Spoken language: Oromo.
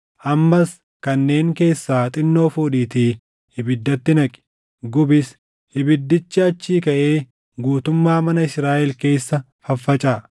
Ammas kanneen keessaa xinnoo fuudhiitii ibiddatti naqi; gubis. Ibiddi achii kaʼee guutummaa mana Israaʼel keessa faffacaʼa.